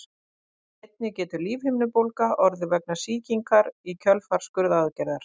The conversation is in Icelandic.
Einnig getur lífhimnubólga orðið vegna sýkingar í kjölfar skurðaðgerðar.